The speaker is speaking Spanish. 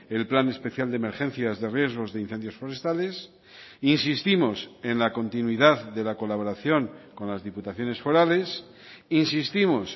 el plan especial de emergencias de riesgos de incendios forestales insistimos en la continuidad de la colaboración con las diputaciones forales insistimos